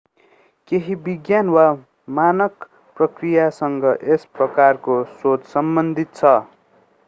केहि विज्ञान वा मानक प्रक्रियासँग यस प्रकारको सोच सम्बन्धित छ